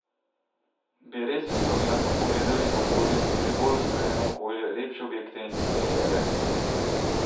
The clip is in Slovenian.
Bi res, ko bi nato pogledali naokoli, dobili bolj usklajeno okolje, lepše objekte in interierje?